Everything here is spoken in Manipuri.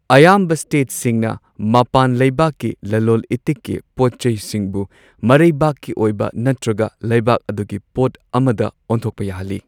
ꯑꯌꯥꯝꯕ ꯁ꯭ꯇꯦꯠꯁꯤꯡꯅ ꯃꯄꯥꯟ ꯂꯩꯕꯥꯛꯀꯤ ꯂꯂꯣꯟ ꯏꯇꯤꯛꯀꯤ ꯄꯣꯠ ꯆꯩꯁꯤꯡꯕꯨ ꯃꯔꯩꯕꯥꯛꯀꯤ ꯑꯣꯏꯕ ꯅꯠꯇ꯭ꯔꯒ ꯂꯩꯕꯛ ꯑꯗꯨꯒꯤ ꯄꯣꯠ ꯑꯃꯗ ꯑꯣꯟꯊꯣꯛꯄ ꯌꯥꯍꯜꯂꯤ꯫